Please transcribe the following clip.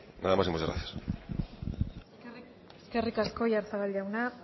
nada más y muchas gracias eskerrik asko oyarzabal jauna